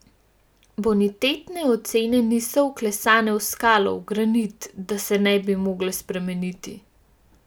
Bonitetne ocene niso vklesane v skalo, v granit, da se ne bi mogle spremeniti.